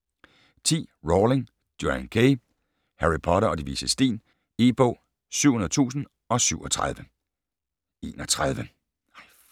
10. Rowling, Joanne K.: Harry Potter og De Vises Sten E-bog 700037